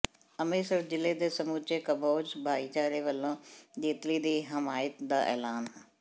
ਅੰਮ੍ਰਿਤਸਰ ਜ਼ਿਲ੍ਹੇ ਦੇ ਸਮੁੱਚੇ ਕੰਬੋਜ ਭਾਈਚਾਰੇ ਵੱਲੋਂ ਜੇਤਲੀ ਦੀ ਹਮਾਇਤ ਦਾ ਐਲਾਨ